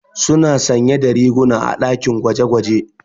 Suna sanye da riguna a ɗakin gwaje-gwaje.